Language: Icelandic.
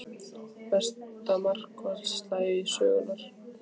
Besta markvarsla sögunnar?